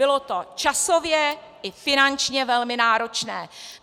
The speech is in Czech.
Bylo to časově i finančně velmi náročné.